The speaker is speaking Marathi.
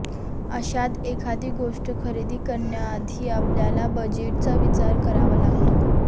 अशात एखादी गोष्ट खरेदी करण्याआधी आपल्याला बजेटचा विचार करावा लागतो